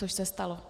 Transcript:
Což se stalo.